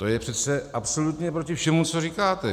To je přece absolutně proti všemu, co říkáte.